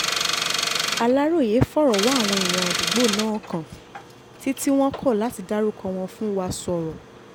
aláròye fọ̀rọ̀ wá àwọn èèyàn àdúgbò náà kàn tí tí wọ́n kọ̀ láti dárúkọ wọn fún wa sọ̀rọ̀